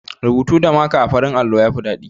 Rubutu da maka a farin allo ya fi daɗi.